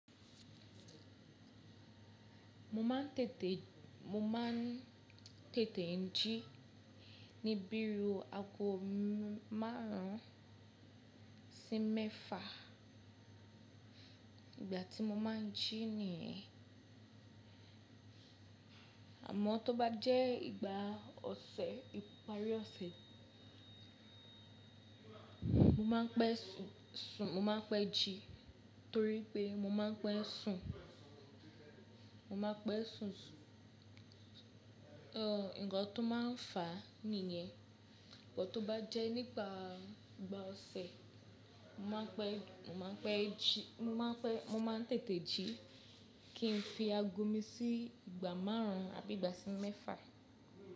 Mo má n tètè, mo má n tètè jí ní bírúu ago márùn-ún sí mẹ́fà ìgbà tí mo má n jí nìyẹn. Àmọ́ tó bá jẹ́ ìgbà ọ̀sẹ̀, ìparí ọ̀sẹ̀, mo má pẹ́ sùn, mo má pẹ́ jí torí pé mo má pẹ́ sùn, mo má pẹ́ sùn. Nǹkan tó má n fà á nìyẹn. Òun tó bá jẹ́ nípa ìgbà ọ̀sẹ̀, mo má pẹ́, mo má pẹ́ jí, mo má pẹ́, mo má n tètè jí kí n fi ago mi sí ìgbà márùn ún àbí ìgbà sí mẹ́fà.